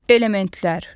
Elementlər.